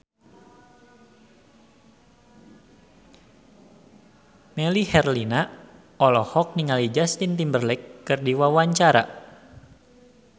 Melly Herlina olohok ningali Justin Timberlake keur diwawancara